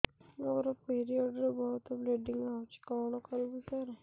ମୋର ପିରିଅଡ଼ ରେ ବହୁତ ବ୍ଲିଡ଼ିଙ୍ଗ ହଉଚି କଣ କରିବୁ ସାର